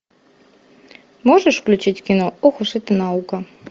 можешь включить кино ох уж эта наука